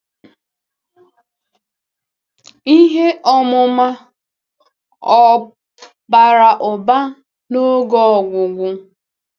Ihe ọmụma ọ̀ bara ụba n'oge ọgwụgwụ?